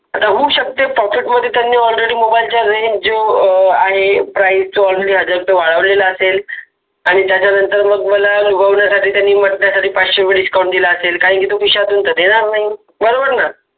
आता होऊ शकत pocket मधे त्यानि already मोबाईल च्या range अ आहे price तो already हजार रुपये वाढवलेला असेल आणीत्याच्यानंतर मग मला लुभावण्यासाठी त्यनि पाचशे रुपये discount दिला असेल कारण ते खिशातुन तर देणार नाहि बरोबर न